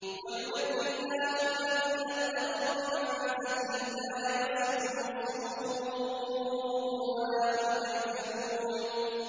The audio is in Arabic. وَيُنَجِّي اللَّهُ الَّذِينَ اتَّقَوْا بِمَفَازَتِهِمْ لَا يَمَسُّهُمُ السُّوءُ وَلَا هُمْ يَحْزَنُونَ